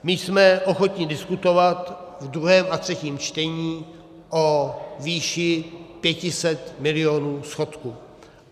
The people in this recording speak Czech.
My jsme ochotni diskutovat v druhém a třetím čtení o výši 500 miliard schodku.